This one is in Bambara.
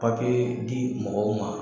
di mɔgɔw ma